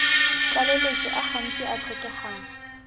tlaleletso a gantsi a tlhokegang